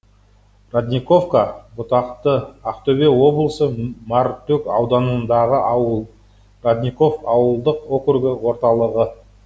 родниковка бұтақты ақтөбе облысы мартөк ауданындағы ауыл родников ауылдық округі орталығы